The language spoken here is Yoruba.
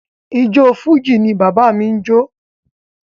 Ijó Fújì ni bàbá mi n jo.